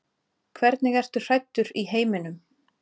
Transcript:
Hvernig ertu hræddur í heiminum?